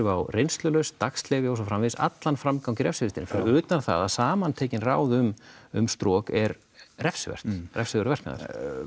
á reynslulausn dagsleyfi og svo framvegis allan framgang í refsivistinni fyrir utan það að samantekin ráð um um strok er refsivert refsiverður verknaður